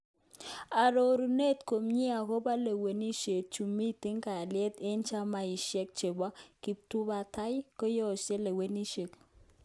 Arorunet komie akobo logoiwek chu miten kalyet eng chamaishek chebo kiptubatai koyesho lewenishet.